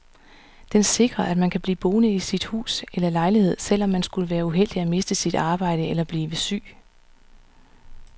Den sikrer, at man kan blive boende i sit hus eller lejlighed, selv om man skulle være uheldig at miste sit arbejde eller blive syg.